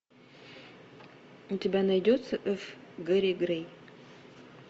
у тебя найдется ф гэри грей